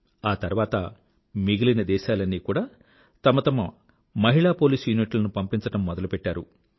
ఆ తర్వాత మిగిలిన దేశాలన్నీ కూడా తమ తమ మహిళా పోలీస్ యూనిట్ లను పంపించడం మొదలుపెట్టారు